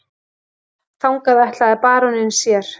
Þangað ætlaði baróninn sér.